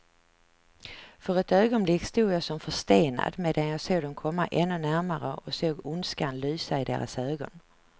För ett ögonblick stod jag som förstenad, medan jag såg dem komma ännu närmare och såg ondskan lysa i deras ögon.